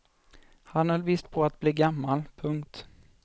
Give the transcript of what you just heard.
Han höll visst på att bli gammal. punkt